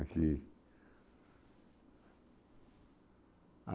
Aqui.